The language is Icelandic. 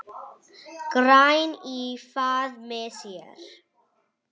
græn í faðmi sér.